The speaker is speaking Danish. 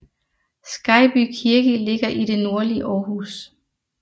Skejby Kirke ligger i det nordlige Aarhus